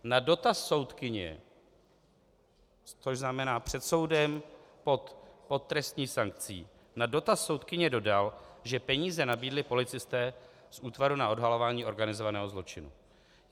Na dotaz soudkyně - což znamená před soudem, pod trestní sankcí - na dotaz soudkyně dodal, že peníze nabídli policisté z Útvaru na odhalování organizovaného zločinu.